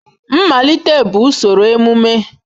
Mmalite bụ usoro emume.